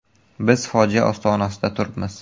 Biz fojia ostonasida turibmiz.